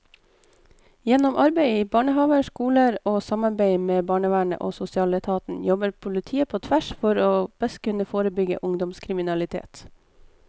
Gjennom arbeid i barnehaver, skoler og samarbeid med barnevernet og sosialetaten jobber politiet på tvers for best å kunne forebygge ungdomskriminalitet.